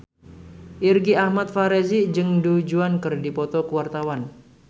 Irgi Ahmad Fahrezi jeung Du Juan keur dipoto ku wartawan